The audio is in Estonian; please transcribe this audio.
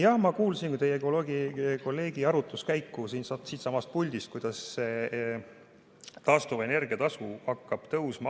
Jah, ma kuulasin teie kolleegi arutluskäiku siitsamast puldist, kuidas taastuvenergia tasu hakkab tõusma.